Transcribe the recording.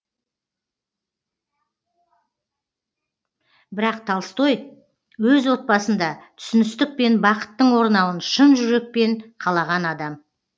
бірақ толстой өз отбасында түсіністік пен бақыттың орнауын шын жүрекпен қалаған адам